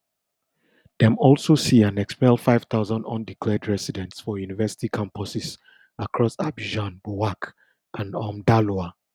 dem also see and expel five thousand undeclared residents for university campuses across abidjan bouak and um daloa